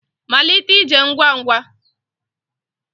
Malite ije ngwa ngwa